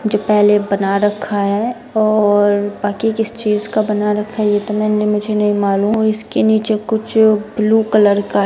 जो पहले बना रखा है और बाकि किस चीज़ का बना रखा है ये तो मेंने मुझे नहीं मालूम और इसके नीचे कुछ ब्लू कलर का--